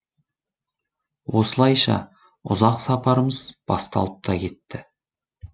осылайша ұзақ сапарымыз басталып та кетті